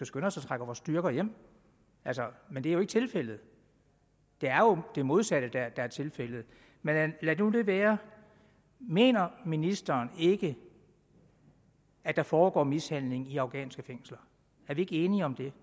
skynde os at trække vores styrker hjem men det er jo ikke tilfældet det er jo det modsatte der er tilfældet men lad nu det være mener ministeren ikke at der foregår mishandling i afghanske fængsler er vi ikke enige om det